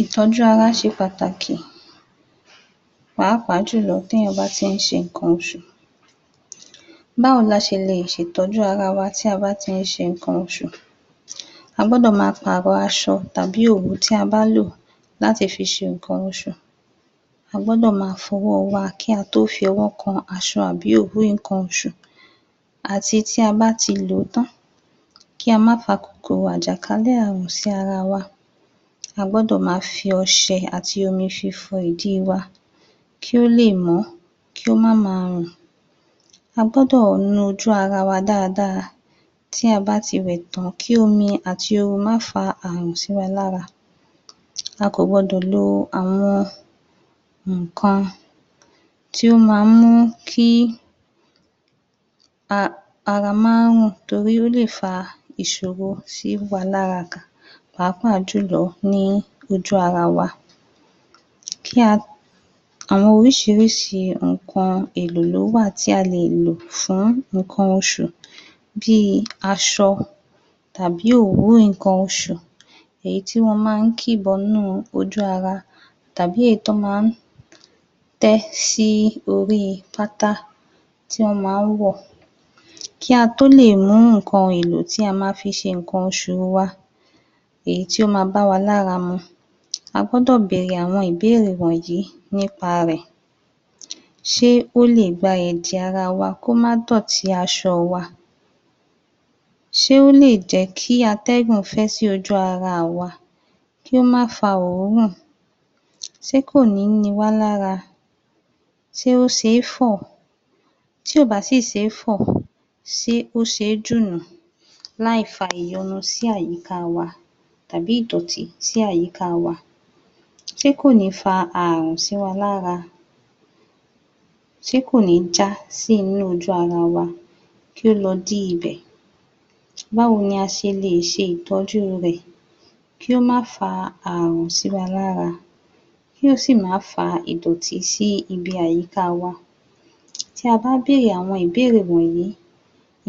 Ìtọ́jú ara ṣe pàtàkì, pàápàá jù lọ téèyàn bá ti ń ṣe nnkan oṣù. Báwo la ṣe lè ṣe ìtọ́jú ara wa tí a bá ti ń ṣe nǹkan oṣù? A gbọ́dọ̀ ma pàrọ aṣọ tàbí òwú tí a bá lò láti fi ṣe nnkan oṣù. A gbọ́dọ̀ ma fọ ọwọ́ wa kí a tó fi ọwọ́ kan aṣọ àbí òwú nnkan oṣù àti ti a bá ti lò ó tán kí a ma fa kòkòrò àjàkálẹ̀ àrùn sí ara wa. A gbọ́dọ̀ ma fi ọṣẹ àti omi fi fọ ìdí wa, kí ó lè mọ́, kí ó má ma rùn. A gbọ́dọ̀ nu ojú ara wa dáadáa tí a bá ti wẹ̀ tán kí omi àti oru má fa àrùn sí wa lára. A kò gbọ́dọ̀ lo àwọn nǹkan tí ó ma mú kí ara má rùn torí ó lè fa ìṣòro sí wa lára pàápàá jù lọ ní ojú ara wa. Àwọn oríṣiríṣi nnkan èlò ló wà tí a lè lò fún nnkan oṣù, bí i aṣọ, tàbí òwú nnkan oṣù èyí tí wọ́n máa ń kì bọnú ojú ara, tàbí èyí tí wọ́n máa ń tẹ́ sí orí pátá tí wọ́n máa ń wọ̀. Kí a tó lè mú nǹkan èlò tí a ma fi ṣe nnkan oṣù wa, èyí tí ó má bá wa lára mu, a gbọ́dọ̀ bèrè àwọn ìbéèrè wọ̀nyí nípa rẹ̀: ṣé ó lè gba ẹ̀jẹ̀ ara wa kí ó má dọ̀tí aṣọ wá? Ṣé ó lè jẹ́ kí atẹ́guǹ fẹ́ sí ojú ara wa? kí ó má fa oòrùn. Ṣé kò ní ni wá lára? Ṣé ó ṣe é fọ̀? Tí kò bá sì ṣe é fọ̀, ṣé ó ṣe é jù nù láì fa ìyọnu sí àyíká wa, tàbí ìdọ̀tí sì àyíká wa? Ṣé kò ní fa àrùn sí wa lára? Ṣé kò ní já sí inú ojú ara wa? kí ó lọ dí ibẹ̀. Báwo ni a ṣe lè ṣe ìtọ́jú rẹ̀ kí ó má fa àrùn sí wa lára, kí ó sì má fa ìdọ̀tí sí ibi àyíká wa? Tí a bá bèrè àwọn ìbéèrè wọ̀nyí,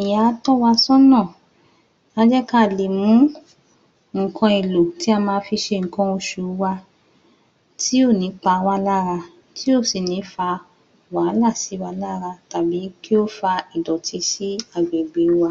ìyẹn á tọ́ wa sọ́nà, á jẹ́ ká lè mú nǹkan èlò tí a ma fi ṣe nǹkan oṣù wá tí ó ní pawá lára, tí ó sì ní fa wàhálà sí wa lára tàbí kí ó fa ìdọ̀tí sí agbègbè wa.